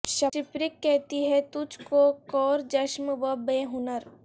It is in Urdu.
شپرک کہتی ہے تجھ کو کور چشم و بے ہنر